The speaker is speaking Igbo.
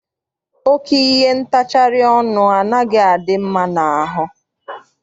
Oke ihe ntacharị ọnụ anaghị adị mma n'ahụ.